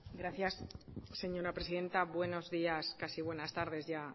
gracias señora presidenta buenos días casi buenas tardes ya